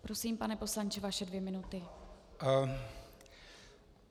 Prosím, pane poslanče, vaše dvě minuty.